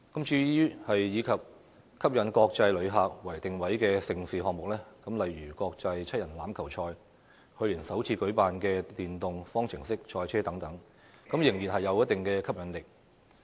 至於以吸引國際旅客為定位的盛事項目，例如國際七人欖球賽、去年首次舉辦的電動方程式賽車等，仍然有一定吸引力。